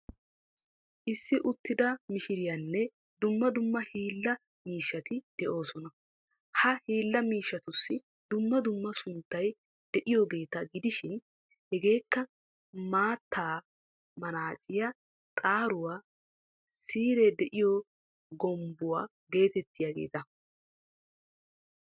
Issi uttida mishiriyanne dumma dumma hiilla miishshati de'oosona. Ha hiilla miishshatussi dumma dumma sunttay de'iyoogeeta gidishin hegeekka ,maatta manaaciyaa, xaaruwaa, siiree de'iyo gombbuwa geteettiyaageeta.